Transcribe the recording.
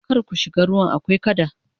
kar ku shiga ruwan akwai kada!